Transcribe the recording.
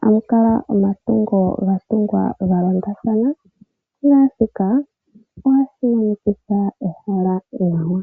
hamu kala omatungo ga tungwa galondathana, naashika ohashi monikitha ehala nawa.